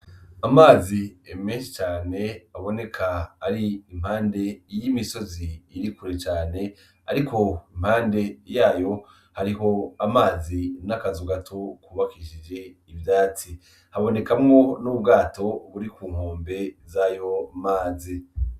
Amazi ni menshi cane, aboneka ari impande y'imisozi iri kure cane, ariko impande yayo ,hariho amazi n'akazu gato kubakishijwe ivyatsi ,habonekamwo n'ubwato buri kunkombe zayomazi.